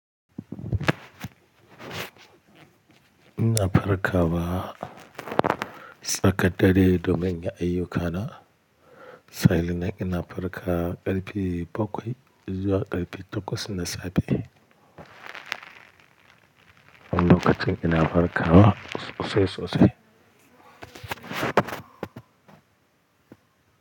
Ina farkarwa tsakar dare domin inyi ayyuka na. Sa'innan ina farkarwa ƙarfe bakwai zuwa ƙarfi takwas na safe. Wani lokacin ina farkarwa sosai sosai.